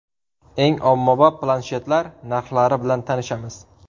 Eng ommabop planshetlar narxlari bilan tanishamiz.